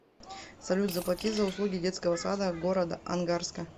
салют заплати за услуги детского сада города ангарска